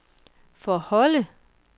forholde